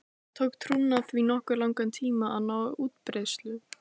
Það tók trúna því nokkuð langan tíma að ná útbreiðslu.